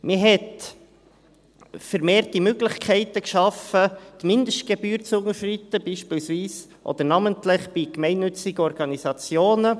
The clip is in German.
Man hat vermehrt Möglichkeiten geschaffen, die Mindestgebühr zu unterschreiten, namentlich bei gemeinnützigen Organisationen.